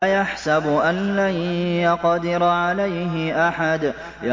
أَيَحْسَبُ أَن لَّن يَقْدِرَ عَلَيْهِ أَحَدٌ